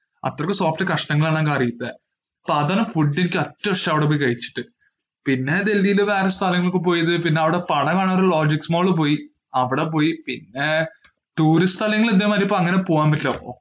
അത്രയ്ക്കും soft കഷ്ണങ്ങൾ ആണ് ആ കറിയിലെ. അപ്പോ അത് ആണ് ഫുഡിൽ എനിക്ക് ഏറ്റവും ഇഷ്ടം അവിടെ പോയി കഴിച്ചിട്ട്. പിന്നെ ധൃതിയിൽ വേറെ സ്ഥലങ്ങളിൽ പോയത്? പിന്നെ tourist സ്ഥലങ്ങൾ ഇതേ മാതിരി ഇപ്പോ അനഗ്നെ പോകാൻ പറ്റില്ലല്ലോ.